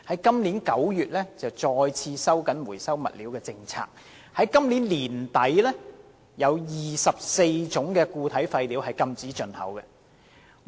今年9月，內地再次收緊回收物料的政策 ，24 種固體廢料將於今年年底開始禁止進口。